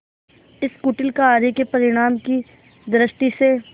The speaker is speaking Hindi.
इस कुटिल कार्य के परिणाम की दृष्टि से